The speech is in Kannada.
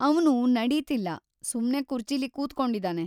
ಅವ್ನು ನಡೀತಿಲ್ಲ, ಸುಮ್ನೆ ಕುರ್ಚಿಲಿ ಕೂತ್ಕೊಂಡಿದಾನೆ.